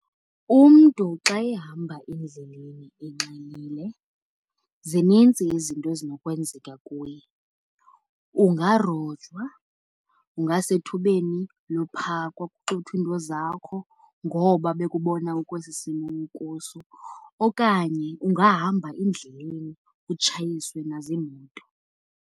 Umntu xa ehamba endleleni enxilile zinintsi izinto ezinokwenzeka kuye. Ungarojwa, ungasethubeni lophakwa kuxuthwe into zakho ngoba bekubona ukwesi simo ukuso, okanye ungahamba endleleni utshayiswe nazimoto.